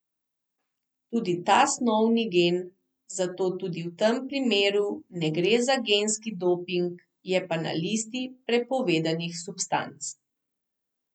Tudi ta snov ni gen, zato tudi v tem primeru ne gre za genski doping, je pa na listi prepovedanih substanc.